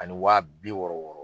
Ani waa bi wɔɔrɔ wɔɔrɔ